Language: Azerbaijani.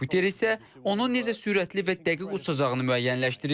Kompüter isə onun necə sürətli və dəqiq uçacağını müəyyənləşdirir.